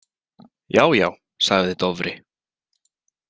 Já já, sagði Dofri.